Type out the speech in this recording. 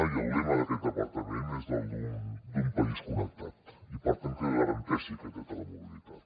i el lema d’aquest departament és el d’ un país connectat i per tant que garanteixi aquest dret a la mobilitat